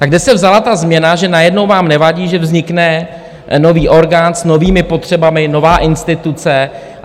Tak kde se vzala ta změna, že najednou vám nevadí, že vznikne nový orgán s novými potřebami, nová instituce?